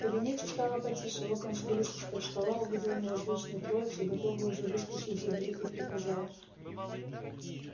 в кабинете стало потише локонс вылез из-под стола увидел неразлучную троицу готовую уже выскочить за дверь и приказал